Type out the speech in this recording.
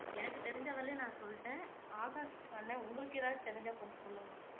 எனக்கு தெரிஞ்ச வரையிலும் நான் சொல்லிட்டேன் ஆகாஷ் அண்ணன் உங்களுக்கு எதாவது தெரிஞ்சா கொஞ்சம் சொல்லுங்க